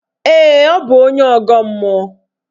Ee, ọ bụ onye ọgọ mmụọ